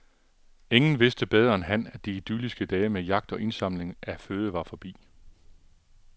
Ingen vidste bedre end han , at de idylliske dage med jagt og indsamling af føde var forbi.